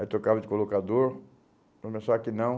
Aí trocava de colocador, começou aqui não.